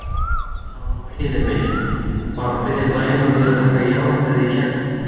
Það var lagið Immi, bara byrja daginn á því að taka jarðarberið í gegn.